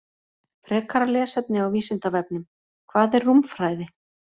Frekara lesefni á Vísindavefnum: Hvað er rúmfræði?